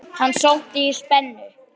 Hann sótti í spennu.